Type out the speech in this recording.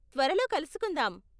త్వరలో కలుసుకుందాం!